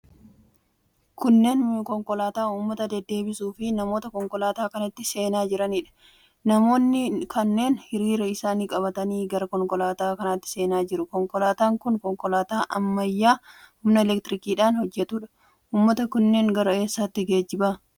Kunneen konkolaataa uummata deddeebisuufi namoota konkolaataa kanatti seenaa jiraniidha. Namoonni kunneen hiriira isaanii qabatanii gara konkolaataa kanaatti seenaa jiru. Konkolaataan kun konkolaataa ammayyaa humna elektirikiidhaan hojjetuudha. Uuummata kanneen gara eessaatti geejjiba?